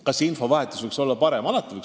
Kas infovahetus võiks olla parem?